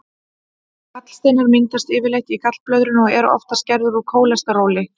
Gallsteinar myndast yfirleitt í gallblöðrunni og eru oftast gerðir úr kólesteróli.